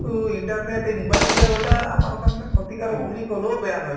internet এই mobile কেইটাও এটা আমাৰ কাৰণে ক্ষতিকাৰক বুলি কলেও বেয়া নহয়